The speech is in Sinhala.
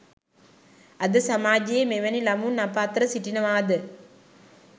අද සමාජයේ මෙවැනි ළමුන් අප අතර සිටිනවාද